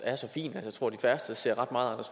er så fin at jeg tror de færreste ser ret meget